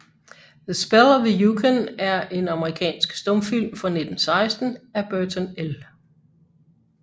The Spell of the Yukon er en amerikansk stumfilm fra 1916 af Burton L